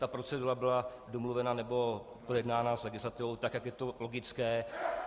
Ta procedura byla domluvena nebo projednána s legislativou tak, jak je to logické.